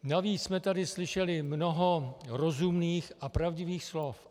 Navíc jsme tady slyšeli mnoho rozumných a pravdivých slov.